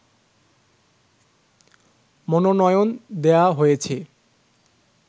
মনোনয়ন দেয়া হয়েছে